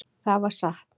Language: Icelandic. Það var satt.